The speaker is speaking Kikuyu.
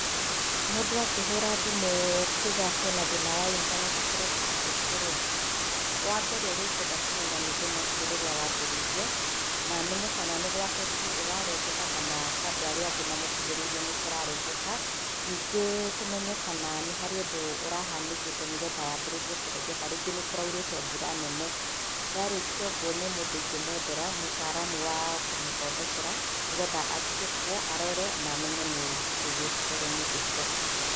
Mũndũ akĩhũra thimũ kuuga atĩ ena thĩna wa intaneti kũrengeka kaingĩ rĩ, wa mbere ũrĩa ingĩenda kũmenya nĩ thĩna ũcio rĩrĩa wambĩrĩirie, na menya kana nĩ gwake tu ĩrarengeka kana kwa andũ arĩa angĩ mamũkuhĩrĩirie nĩ kũrarengeka. Ningĩ tũmenye kana nĩ harĩ ũndũ ũrahanĩkĩte nĩgetha yambĩrĩrie kũrengeka, rĩngĩ nĩ kũraurĩte mbura nene. Ndarĩkia ũguo, nĩ mũndũ ingĩmwethera mũtaaramu wa kũmũthondekera nĩgetha athiĩ kuo, arore na amenye nĩ kĩĩ gĩbatairwo nĩ gũĩkwo.